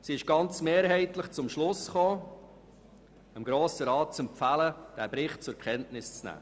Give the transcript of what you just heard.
Sie ist mehrheitlich zum Schluss gelangt, dem Grossen Rat diesen Bericht zur Kenntnisnahme zu empfehlen.